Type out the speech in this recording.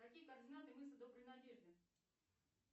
какие координаты мыса доброй надежды